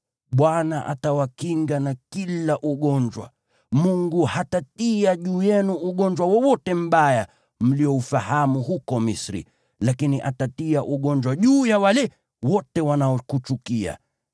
Bwana atawakinga na kila ugonjwa. Mungu hatatia juu yenu ugonjwa wowote mbaya mlioufahamu huko Misri, lakini atatia ugonjwa juu ya wale wote wanaokuchukia.